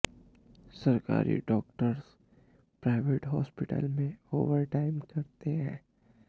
सरकारी doctors private हॉस्पिटलों में ओवर टाइम करते है